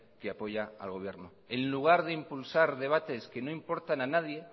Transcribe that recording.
que apoya al gobierno en lugar de impulsar debates que no importan a nadie